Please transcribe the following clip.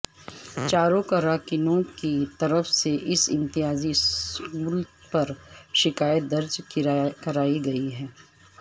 چاروں کارکنوں کی طرف سے اس امتیازی سلوک پر شکایت درج کرائی گئی ہے